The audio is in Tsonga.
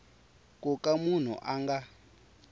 ku ka munhu a nga